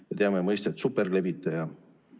Me teame mõistet superlevitaja.